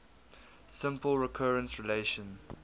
simple recurrence relation